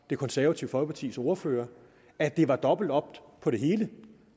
det konservative folkepartis ordfører at det er dobbelt op på det hele